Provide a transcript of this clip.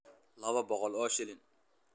Laba boqol oo shilin.